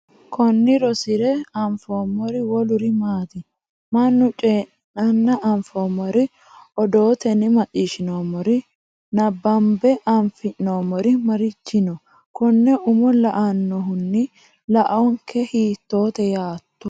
Konni rosire anfoommori woluri maati? Mannu coyi’ranna anfoommori, odootenni macciishshinoommori, nabbanbe afi’noommori marichi no? Konne umo la”annohunni laonke hiittoote yaato?